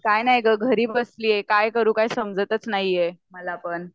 काय नाही ग घरी बसलेय आता काय करू काही समजतच नाहीए मला पण.